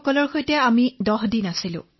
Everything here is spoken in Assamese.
আমি তেওঁলোকৰ খাৱনশোৱন পদ্ধতি শিকিলো